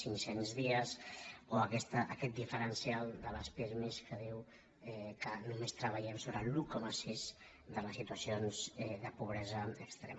cinc cents dies o aquest diferencial de les pirmi que diu que només treballem sobre l’un coma sis de les situacions de pobresa extrema